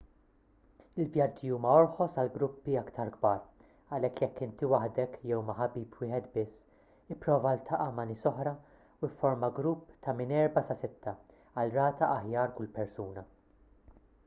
il-vjaġġi huma orħos għal gruppi aktar kbar għalhekk jekk inti waħdek jew ma' ħabib wieħed biss ipprova ltaqa' ma' nies oħra u fforma grupp ta' minn erba' sa sitta għal rata aħjar kull persuna